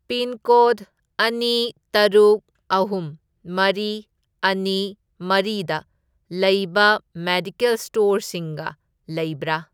Pincode ꯑꯅꯤ, ꯇꯔꯨꯛ, ꯑꯍꯨꯝ, ꯃꯔꯤ, ꯑꯅꯤ, ꯃꯔꯤꯗ ꯂꯩꯕ ꯃꯦꯗꯤꯀꯦꯜ ꯁ꯭ꯇꯣꯔꯁꯤꯡꯒ ꯂꯩꯕ꯭ꯔꯥ?